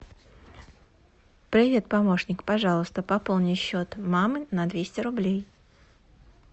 привет помощник пожалуйста пополни счет мамы на двести рублей